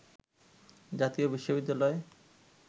জাতীয় বিশ্ববিদ্যালয়